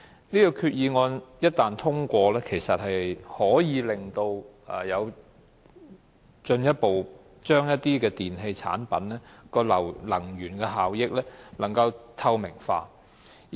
這項決議案一旦通過，可以進一步將一些電器產品的能源效益透明化。